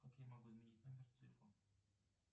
как я могу изменить номер телефона